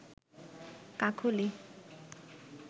কাকলি